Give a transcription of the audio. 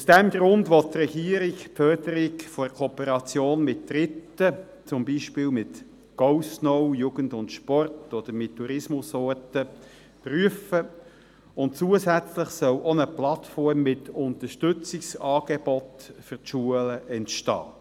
Aus diesem Grund will die Regierung die Förderung der Kooperation mit Dritten, zum Beispiel mit GoSnow, Jugend + Sport oder mit Tourismusorten, prüfen, und zusätzlich soll auch eine Plattform mit Unterstützungsangeboten für die Schulen entstehen.